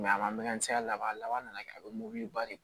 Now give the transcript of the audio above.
a makanti ka laban laban nana kɛ a bɛ mɔbili ba de